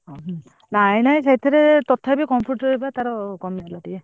ନାଇଁ ନାଇଁ ସେଥିରେ ତଥାପି computer ବା ଟାର କମିଗଲା ବା ଟିକେ।